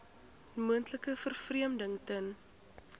moontlike vervreemding ten